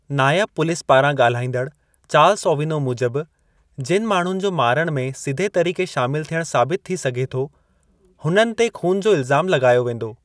नायबु police पारां ॻाल्हाईंदड़ु Charles Ovino मूजिबि, जिनि माण्हूनि जो मारण में सिधे तरीक़े शामिलु थियणु साबित थी सघे थो, हुननि ते ख़ून जो इल्ज़ामु लॻायो वेंदो।